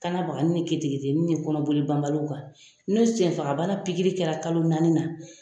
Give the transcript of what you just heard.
Kanna bagani ni keteketeni ni kɔnɔboli banbaliw kan. Ni senfagabana pikiri kɛra kalo naani na